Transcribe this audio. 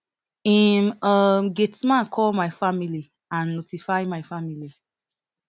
im um gateman call my family and notify my family